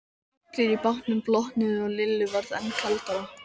Allir í bátnum blotnuðu og Lillu varð enn kaldara.